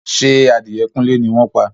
Ṣé adìẹ kúnlé ni wọ́n pa?